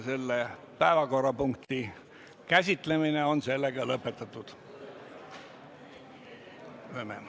Selle päevakorrapunkti käsitlemine on lõpetatud.